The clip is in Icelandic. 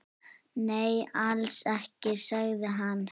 Nei, alls ekki, sagði hann.